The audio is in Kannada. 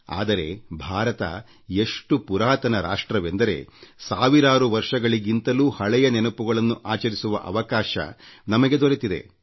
ಆದರೆ ಭಾರತ ಎಷ್ಟು ಪುರಾತನ ರಾಷ್ಟ್ರವೆಂದರೆ ಸಾವಿರಾರು ವರ್ಷಗಳಿಗಿಂತಲೂ ಹಳೆಯ ನೆನಪುಗಳನ್ನು ಆಚರಿಸುವ ಅವಕಾಶ ನಮಗೆ ದೊರೆತಿದೆ